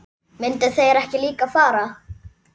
Myndu þeir ekki líka fara?